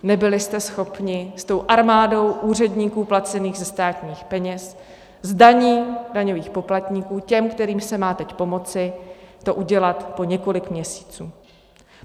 Nebyli jste schopni s tou armádou úředníků placených ze státních peněz, z daní daňových poplatníků, těm, kterým se má teď pomoci, to udělat po několik měsíců.